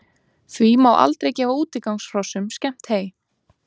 því má aldrei gefa útigangshrossum skemmt hey